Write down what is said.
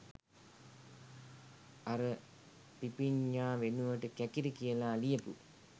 අර පිපිඤ්ඤා වෙනුවට කැකිරි කියලා ලියපු